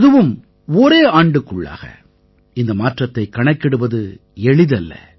அதுவும் ஒரே ஆண்டுக்குள்ளாக இந்த மாற்றத்தைக் கணக்கிடுவது எளிதல்ல